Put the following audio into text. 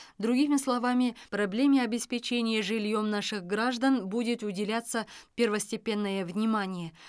другими словами проблеме обеспечения жильем наших граждан будет уделяться первостепенное внимание